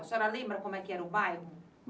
A senhora lembra como era o bairro?